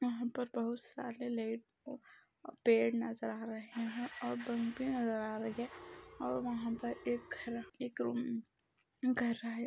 यहा पर बहुत सारे लेट व पेड़ नज़र आ रहे है और पम्प भी नज़र आ रही है और वहाँ पर घर एक रूम घर है।